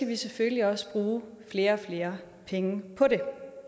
lige selvfølgelig også bruge flere og flere penge på det